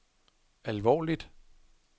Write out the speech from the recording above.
alvorligt